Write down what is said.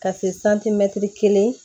Ka se kelen